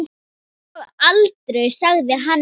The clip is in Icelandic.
Og aldrei sagði hann nei.